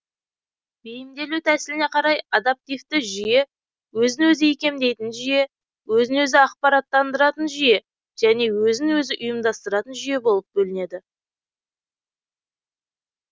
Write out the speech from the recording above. бейімделу тәсіліне қарай адаптивті жүйе өзін өзі икемдейтін жүйе өзін өзі ақпараттандыратын жүйе және өзін өзі ұйымдастыратын жүйе болып бөлінеді